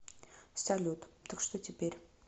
салют так что теперь